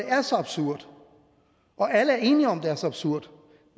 er så absurd og alle er enige om at det er så absurd